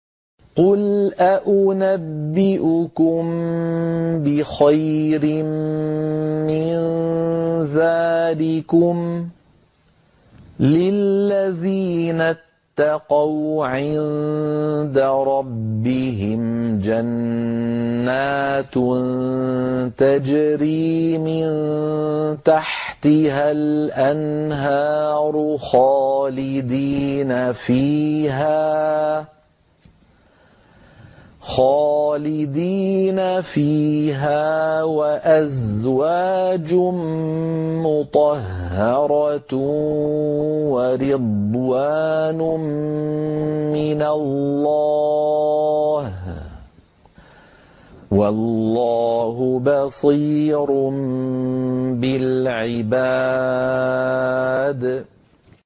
۞ قُلْ أَؤُنَبِّئُكُم بِخَيْرٍ مِّن ذَٰلِكُمْ ۚ لِلَّذِينَ اتَّقَوْا عِندَ رَبِّهِمْ جَنَّاتٌ تَجْرِي مِن تَحْتِهَا الْأَنْهَارُ خَالِدِينَ فِيهَا وَأَزْوَاجٌ مُّطَهَّرَةٌ وَرِضْوَانٌ مِّنَ اللَّهِ ۗ وَاللَّهُ بَصِيرٌ بِالْعِبَادِ